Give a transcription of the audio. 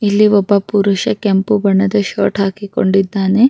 ಇಲ್ಲಿ ಒಬ್ಬ ಪುರುಷ ಕೆಂಪು ಬಣ್ಣದ ಷರ್ಟ್‌ ಹಾಕಿಕೊಂಡಿದ್ದಾನೆ.